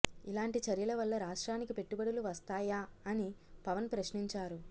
ఇలాంటి చర్యల వల్ల రాష్ట్రానికి పెట్టుబడులు వస్తాయా అని పవన్ ప్రశ్నించారు